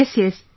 Yes, yes